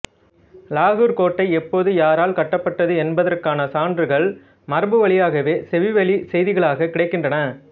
இலாகூர் கோட்டை எப்போது யாரால் கட்டப்பட்டது என்பதற்கான சான்றுகள் மரபுவழியாகவே செவிவழிச் செய்திகளாக கிடைக்கின்றன